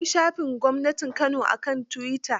Akwai shafin gwamnatin Kano a kan tuwita.